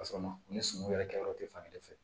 Ka sɔrɔ ma ni suman yɛrɛ kɛyɔrɔ te fan kelen fɛ